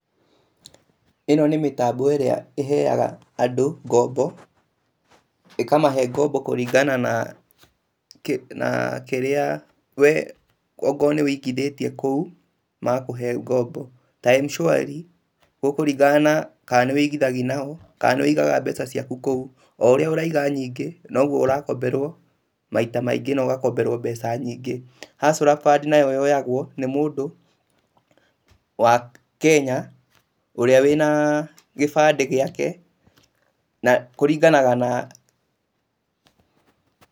ĩno nĩ mĩtambo ĩrĩa ĩheaga andũ ngombo.ĩ kamahe ngombo kũringana na kĩrĩa kũringana na ũrĩa ũigithĩtie nao. Ta Mshwari, gũkũringana kana nĩũigithagia nao, kana nĩ ũigaga mbeca ciaku kũu. O ũrĩa ũraiga nyingĩ, noguo ũrakomberwo nyingĩ na ũgakomberwo maita maingĩ. Hustler Fund nayo yoyagwo nĩ mũndũ wa Kenya ũrĩa wĩ na kĩbandĩ gĩake kũringana na..